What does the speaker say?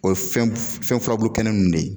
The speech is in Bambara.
O ye fɛn furabulu kɛnɛ nunnu de ye.